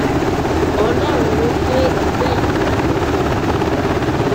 ọlọrun ló gbé ègbé yìí kalẹ fún wa